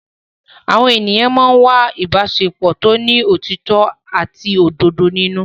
Àwọn ènìyàn máa ń wá ìbáṣepọ̀ tó ní òtítọ́ àti òdodo nínú.